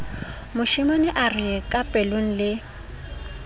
moshemane a re kapelong le